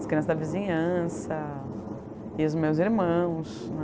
As crianças da vizinhança e os meus irmãos, né?